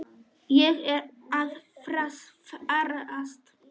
Ég er að farast.